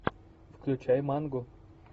включай мангу